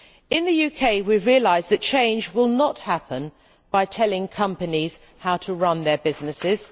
In the UK we have realised that change will not happen by telling companies how to run their businesses.